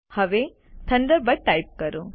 હવે Thunderbird type કરો